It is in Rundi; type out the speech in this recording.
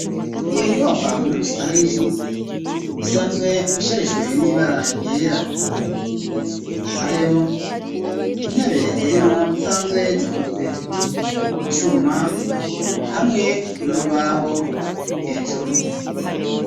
Iyo nyubakwa muri rusangi isanzwe isharijwe n'ibara ryera, nayo intebe zirimwo zisanzwe zikozwe mucuma hamwe n'urubaho hejuru.